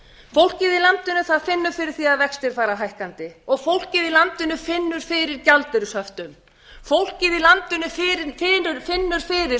fólkið í landinu finnur fyrir því að vextir fara hækkandi og fólkið í landinu finnur fyrir gjaldeyrishöftum fólkið í landinu finnur fyrir